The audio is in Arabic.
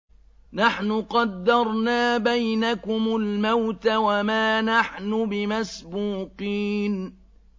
نَحْنُ قَدَّرْنَا بَيْنَكُمُ الْمَوْتَ وَمَا نَحْنُ بِمَسْبُوقِينَ